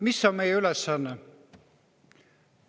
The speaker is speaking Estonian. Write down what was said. Mis on meie ülesanne?